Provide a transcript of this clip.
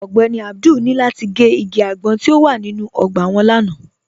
Ọ̀gbẹ́ní Abdul ni lati gẹ́ igi agbọ̀n ti o wà nínu ogbà wọn lánà.